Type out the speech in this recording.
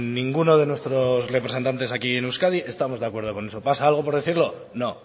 ninguno de nuestros representantes aquí en euskadi estamos de acuerdo con eso pasa algo por decirlo no